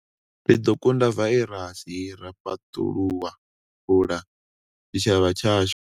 Ri ḓo kunda vairasi hei ra fhaṱulula tshitshavha tshashu.